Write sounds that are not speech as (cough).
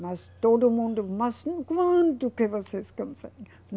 Mas todo mundo, mas quando que vocês (unintelligible)